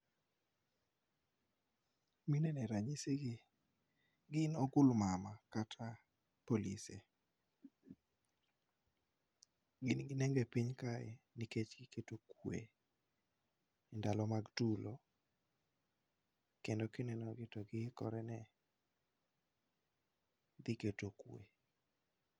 Mineno e ranyisi gi, gin ogulmama kata polise. Gin gi nengo e piny kae nikech giketo kwe, e ndalo mag tulo, kendo ki neno gi to gihikore ne, dhi keto kwe.